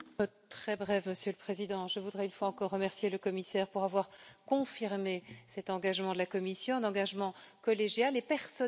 Monsieur le Président, je voudrais une fois encore remercier le commissaire d'avoir confirmé cet engagement de la Commission, un engagement collégial et personnel aussi.